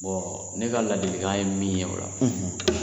ne ka ladilikan ye min ye o la